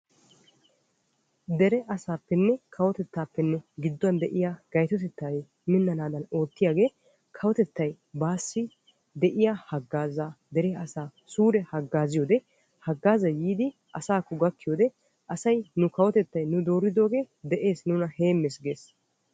dere asaappenne kawotettaappe gidduwande'iya gayttotettay minanaadan oottiyagee kawotettay baassi de'iya hagaazzaa dere asaa suure hagaazziyode hagaazzay yiidi asaakko gakkiyode asay nu kawotettay nu dooridooge nuna heemes ges.